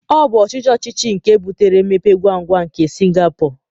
Ọ bụ ọchịchị ọchịchị nke butere mmepe ngwa ngwa nke Singapọ